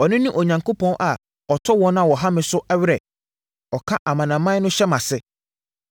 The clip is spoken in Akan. Ɔno ne Onyankopɔn a ɔtɔ wɔn a wɔha me so awere; ɔka amanaman no hyɛ mʼase